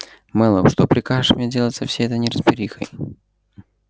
мэллоу что прикажешь мне делать со всей этой неразберихой